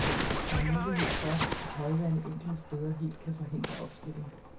Der er mulighed for, at højvande enkelte steder helt kan forhindre opstilling.